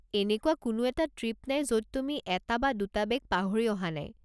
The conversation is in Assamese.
এনেকুৱা কোনো এটা ট্ৰিপ নাই য'ত তুমি এটা বা দুটা বেগ পাহৰি অহা নাই।